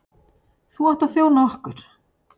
Þú átt að þjóna okkur.